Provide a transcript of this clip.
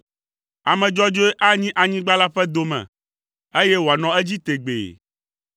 Ame dzɔdzɔe anyi anyigba la ƒe dome, eye wòanɔ edzi tegbee.